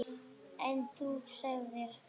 En þú sagðir.